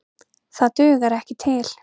Það dugar ekki til.